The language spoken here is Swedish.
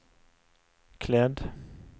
klädd